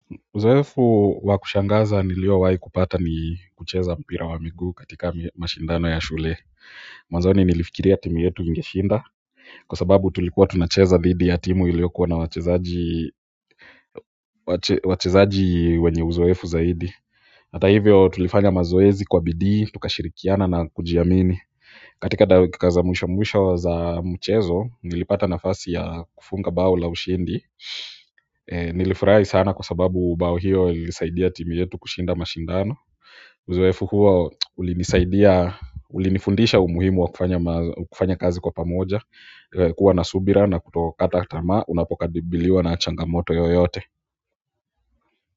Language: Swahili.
Uzoefu wa kushangaza niliyowahi kupata ni kucheza mpira wa miguu katika mashindano ya shule mwanzoni nilifikiria timu yetu ingeshinda, kwa sababu tulikuwa tunacheza dhidi ya timu iliyokuwa na wachezaji wachezaji wenye uzoefu zaidi. Hata hivyo tulifanya mazoezi kwa bidii, tukashirikiana na kujiamini. Katika dakika za mwisho mwisho za mchezo nilipata nafasi ya kufunga bao la ushindi nilifurahi sana kwa sababu bao hiyo ilisaidia timu yetu kushinda mashindano uzoefu huwo ulinifundisha umuhimu wa kufanya kazi kwa pamoja kuwa na subira na kutokata tamaa unapokabiliwa na changamoto yoyote.